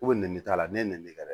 Ko nɛni t'a la ne ye ngɛrɛ